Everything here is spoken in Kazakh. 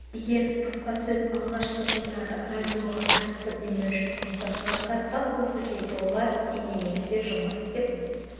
егер баспасөз алғашқы жылдары радиоға қатысты демеуші функциясын атқарса осы кезде олар теңдей негізде жұмыс істеп